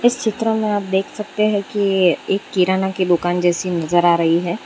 इस चित्र में आप देख सकते हैं कि ये एक किराना की दुकान जैसी नजर आ रही है।